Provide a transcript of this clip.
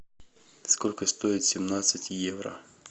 сколько стоит семнадцать евро